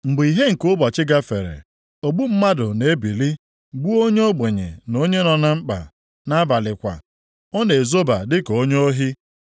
Mgbe ìhè nke ụbọchị gafere, ogbu mmadụ na-ebili, gbuo onye ogbenye na onye nọ na mkpa; nʼabalị kwa, ọ na-ezoba dịka onye ohi.